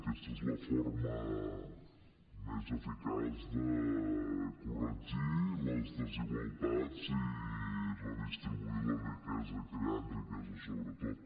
aquesta és la forma més eficaç de corregir les desigualtats i redistribuir la riquesa creant riquesa sobretot